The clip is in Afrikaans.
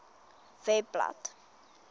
webblad